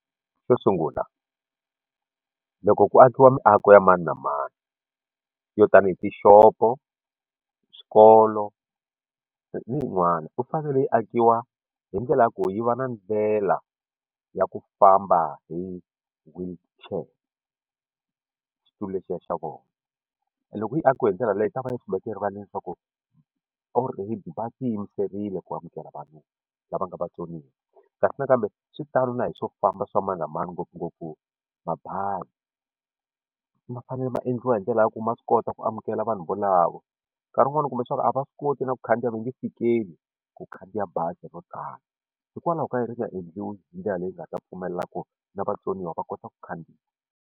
Xo sungula loko ku akiwa miako ya mani na mani yo tanihi tixopo swikolo ni yin'wana ku fanele yi akiwa hi ndlela ya ku yi va na ndlela ya ku famba hi wheelchair xitulu lexiya xa vona loko yi akiwe hi ndlela leyi ta va yi swi veke erivala leswaku or va ti yimiserile ku amukela vanhu lava nga vatsoniwa kasi nakambe swi tani na hi swo famba swa mani na mani ngopfungopfu mabazi ma fanele ma endliwa hi ndlela ya ku ma swi kota ku amukela vanhu volavo nkarhi wun'wani u kuma leswaku a va swi koti na ku khandziya va nge fikeli ku khandziya bazi ro tano hikwalaho ka yini ri nga endliwi hi ndlela leyi nga ta pfumelela ku na vatsoniwa va kota ku khandziya.